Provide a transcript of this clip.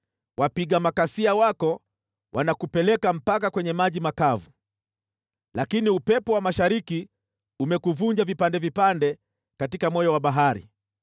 Wapiga makasia wako wanakupeleka mpaka kwenye maji makavu. Lakini upepo wa mashariki umekuvunja vipande vipande katika moyo wa bahari.